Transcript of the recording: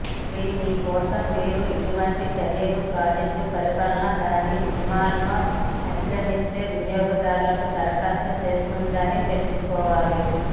మరియు ఈ కోసం మీరు ఇటువంటి చర్యలు ప్రాజెక్ట్ పరిపాలన దాని నియమాలను అతిక్రమిస్తే వినియోగదారులకు దరఖాస్తు చేస్తుందని తెలుసుకోవాలి